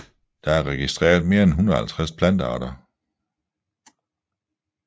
Der er registreret mere end 150 plantearter